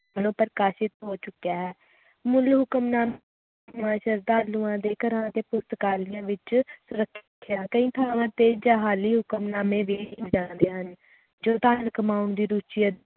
ਵੱਲੋਂ ਪ੍ਰਕਾਸ਼ਿਤ ਹੋ ਚੁੱਕਿਆ ਹੈ ਮੁੱਲ ਹੁਕਮਨਾਮਾ ਸ਼ਰਧਾਲੂਆਂ ਦੇ ਘਰਾਂ ਅਤੇ ਪੁਸਟਕਾਲੇਯੰ ਵਿਚ ਰੱਖਿਆ ਕਈ ਥਾਵਾਂ ਤੇ ਜਾਅਲੀ ਹੁਕਮਨਾਮੇ ਵੀ ਜਾਂਦੇ ਹਨ ਜੋ ਧਨ ਕਮਾਉਣ ਦੀ ਦੂਜੀ